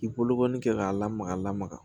K'i bolokɔni kɛ k'a lamaga lamaga